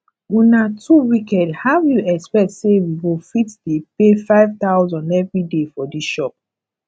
una too wicked how you expect say we go fit dey pay five thousand every day for dis shop